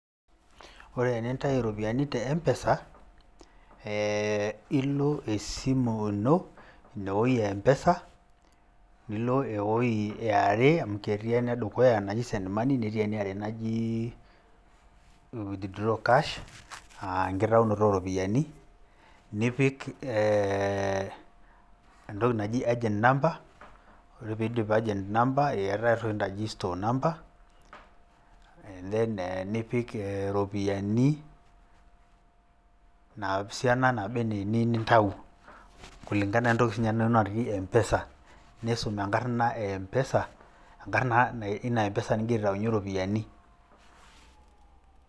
Ore tenintayu iropiyiani te M-pesa ee, ilo esimu ino ina wuoi e M-pesa nilo ewuoi e are amu ketii enedukuya naji send money netii eniare naji widthraw cash aa enkitaunoto ooropiyiani nipik ee agent number, entoki naji agent number ore piindip agent number eetae entoki naji store number enipik ee iropiyiani ina siana naba enaa eniyieu nintayu kulingana woentoki naba enaa enatii M-pesa[cs. Niisum enkarna e M-pesa, enkarna ina M-pesanigira aitayunyie iropiyiani.